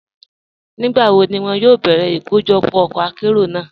Nígbàwó ni wọn yóò bẹ̀rẹ́ ikọ́jọpọ́ ọkọ àkéró náà?